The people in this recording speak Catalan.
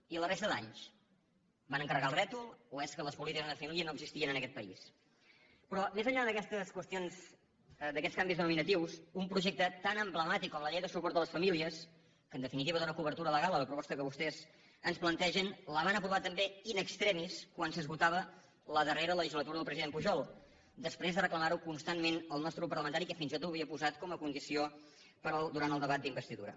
i la resta d’anys van encarregar el rètol o és que les polítiques de família no existien en aquest país però més enllà d’aquestes qüestions d’aquests canvis denominatius un projecte tan emblemàtic com la llei de suport a les famílies que en definitiva dóna cobertura legal a la proposta que vostès ens plantegen la van aprovar també in extremislegislatura del president pujol després de reclamarho constantment el nostre grup parlamentari que fins i tot ho havia posat com a condició durant el debat d’investidura